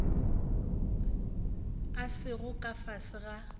a sego ka fase ga